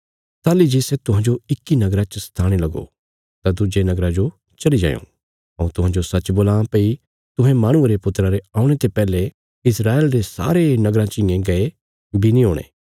ताहली जे सै तुहांजो इक्की नगरा च सताणे लगो तां दुज्जे नगरा जो चली जायों हऊँ तुहांजो सच्च बोलां भई तुहें माहणुये रे पुत्रा रे औणे ते पैहले इस्राएल रे सारे नगराँ चियें गये बी नीं हुणे